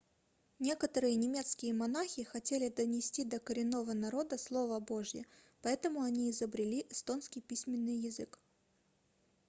некоторые немецкие монахи хотели донести до коренного народа слово божье поэтому они изобрели эстонский письменный язык